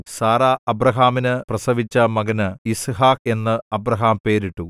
Sarah അബ്രാഹാമിന് പ്രസവിച്ച മകന് യിസ്ഹാക്ക് എന്ന് അബ്രാഹാം പേരിട്ടു